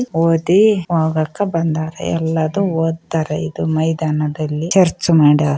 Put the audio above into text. ಇಲ್ಲಿ ಓದಿ ಹೋಗಕ್ಕೆ ಬಂದಿದ್ದಾರೆ ಎಲ್ಲರೂ ಓದುತ್ತಾರೆ ಇದು ಮೈದಾನದಲ್ಲಿ ಚರ್ಚ್‌ ಮಾಡ್ಯಾರ .